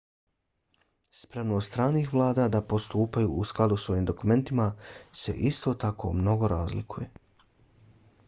spremnost stranih vlada da postupaju u skladu s ovim dokumentima se isto tako mnogo razlikuje